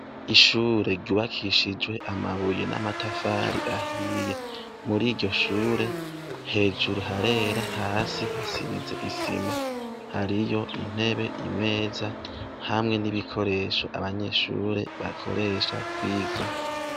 Ishure ryubakishijwe amabuye n'amatafari ahiye, muriryo shure hejuru harera hasi hasize isima hariyo intebe imeza hamwe n'ibikoresho abanyeshure bakoresha kwiga.